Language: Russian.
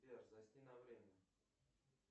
сбер засни на время